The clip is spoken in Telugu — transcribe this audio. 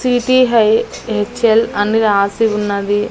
సిటీ హై హెచ్_ఎల్ అని రాసి ఉన్నది.